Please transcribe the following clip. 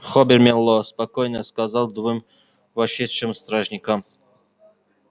хобер мэллоу спокойно сказал двум вошедшим стражникам